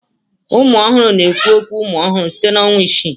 Ụmụ ọhụrụ na-ekwu okwu umụ ọhụrụ site na ọnwa isii.